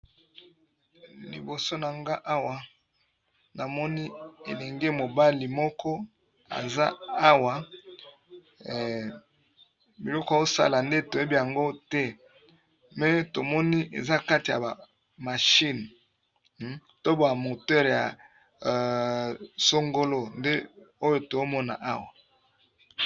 Liboso na nga awa namoni elenge mobali moko eza awa biloko osala nde toyebi yango te me tomoni eza kati ya bamashine to ba moteure ya songolo nde oyo tomona awa